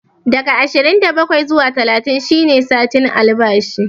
Daga ashirin da bakwai zuwa talatin shi ne satin albashi